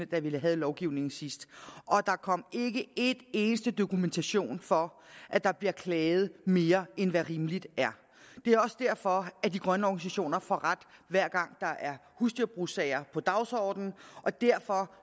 da vi havde lovgivningen sidst og der kom ikke en eneste dokumentation for at der bliver klaget mere end hvad rimeligt er det er også derfor at de grønne organisationer får ret hver gang der er husdyrbrugssager på dagsordenen og derfor